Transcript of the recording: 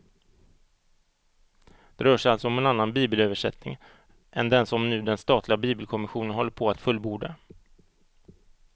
Det rör sig alltså om en annan bibelöversättning än den som nu den statliga bibelkommissionen håller på att fullborda.